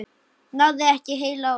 Náði ekki heilu ári.